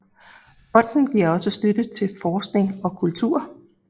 Fonden giver også støtte til forskning og kultur